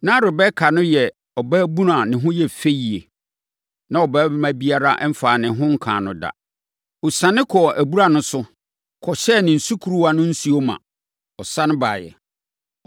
Na Rebeka no yɛ ɔbaabunu a ne ho yɛ fɛ yie. Na ɔbarima biara mfaa ne ho nkaa no da. Ɔsiane kɔɔ abura no so, kɔhyɛɛ ne sukuruwa no nsuo ma, sane baeɛ.